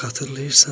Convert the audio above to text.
Xatırlayırsanmı?